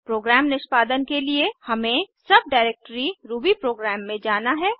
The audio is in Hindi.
प्रोग्राम निष्पादन के लिए हमें सब डाइरेक्टरी रूबी प्रोग्राम में जाना है